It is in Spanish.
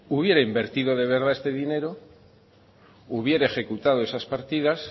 hubiera invertido de verdad este dinero hubiera ejecutado esas partidas